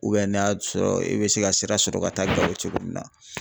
n'a y'a sɔrɔ e bɛ se ka sira sɔrɔ ka taa Gao cogo min na.